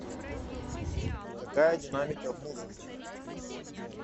какая динамика в музыке